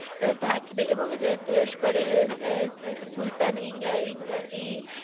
এর থাকিবে এবং এর তুরস্করের এর এর সুলতান ইংল্যা~ ইংল্যা~ ই~